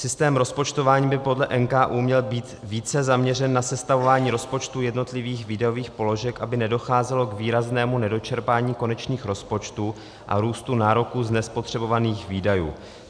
Systém rozpočtování by podle NKÚ měl být více zaměřen na sestavování rozpočtu jednotlivých výdajových položek, aby nedocházelo k výraznému nedočerpání konečných rozpočtů a růstu nároků z nespotřebovaných výdajů.